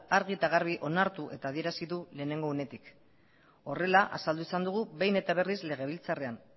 argi eta garbi onartu eta adierazi du lehenengo unetik horrela azaldu izan dugu behin eta berriz legebiltzarrean